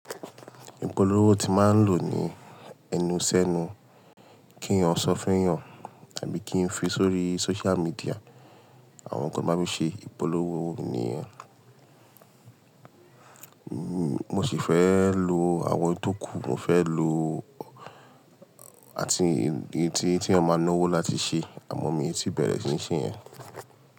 Ìpolówó tí mà ń lò ní ẹnu sẹnu, kí ènìyàn sọ fún ènìyàn tàbí kí ń fi sórí social media. Àwọn ǹkan tí mo máa ń fi ṣe ìpolówó nìyẹn. Mo sì fẹ́ lo àwọn ètò kù, mo fẹ́ lo àti i tí, tí wọn máa ń ná owó láti ṣe, àmọ̀ mi ò tí bẹ̀rẹ̀ sí ní ṣe ẹ́.